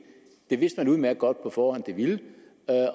det vidste man udmærket godt på forhånd det ville